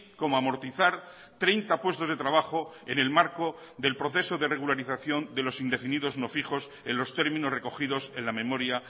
como amortizar treinta puestos de trabajo en el marco del proceso de regularización de los indefinidos no fijos en los términos recogidos en la memoria